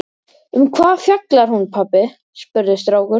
Um hvað fjallar hún pabbi? spurði strákur.